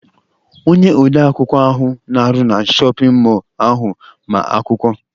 Onye ode akwụkwọ ahụ na-arụ na shọpịn mọọ ahụ ma akwụkwọ.